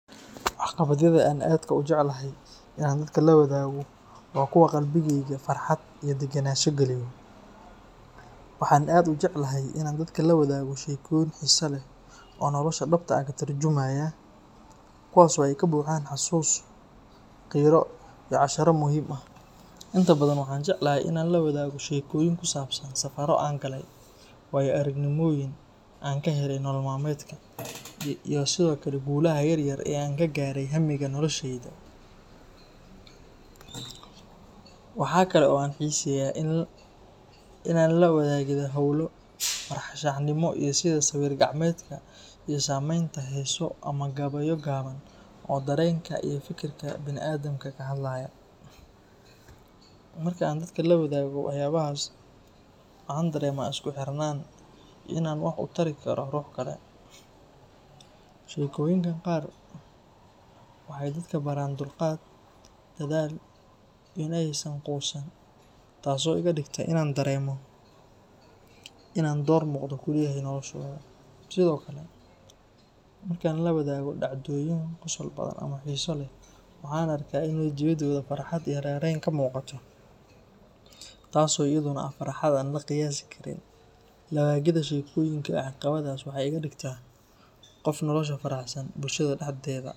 Waxqabadyada aan aadka u jecelahay in aan dadka la wadaago waa kuwa qalbigayga farxad iyo deganaansho geliyo. Waxaan aad u jeclahay in aan dadka la wadaago sheekooyin xiiso leh oo nolosha dhabta ah ka turjumaya, kuwaas oo ay ka buuxaan xasuus, qiiro iyo casharro muhiim ah. Inta badan waxaan jeclahay in aan la wadaago sheekooyin ku saabsan safarro aan galay, waayo-aragnimooyin aan ka helay nolol maalmeedka, iyo sidoo kale guulaha yaryar ee aan ka gaaray hammiga noloshayda. Waxa kale oo aan xiiseeyaa la wadaagidda hawlo farshaxanimo ah sida sawir gacmeedka iyo samaynta heeso ama gabayo gaaban oo dareenka iyo fikirka bini’aadamka ka hadlaya. Marka aan dadka la wadaago waxyaabahaas, waxaan dareemaa isku xirnaan iyo in aan wax u tari karo ruux kale. Sheekooyinka qaar waxay dadka baraan dulqaad, dadaal, iyo in aysan quusan, taas oo iga dhigta in aan dareemo in aan door muuqda ku leeyahay noloshooda. Sidoo kale, markaan la wadaago dhacdooyin qosol badan ama xiiso leh, waxaan arkaa in wejiyadooda farxad iyo raynrayn ka muuqato, taas oo iyaduna ah farxad aan la qiyaasi karin. La wadaagidda sheekooyinka iyo waxqabadyadaas waxay iga dhigtaa qof nolosha ka faraxsan, bulshada dhexdeeda.